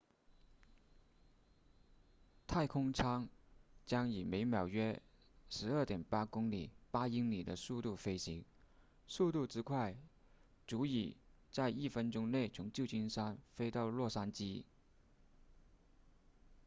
太空舱将以每秒约 12.8 公里8英里的速度飞行速度之快足以在一分钟内从旧金山飞到洛杉矶